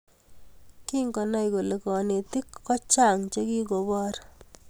kingonah kole kanetik kochang chegigoboor